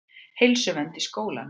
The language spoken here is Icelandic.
Heilsuvernd í skólum.